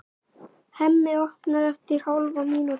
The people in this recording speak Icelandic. Hemmi opnar eftir hálfa mínútu.